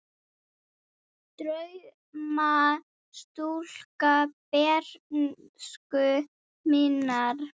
Drauma stúlka bernsku minnar.